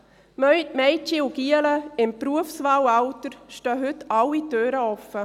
Den Mädchen und Jungen im Berufswahlalter stehen heute alle Türen offen.